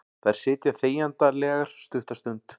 Þær sitja þegjandalegar stutta stund.